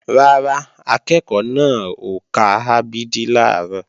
Rárá, akẹ́ẹ̀kọ́ náà ò ka a b d làárọ̀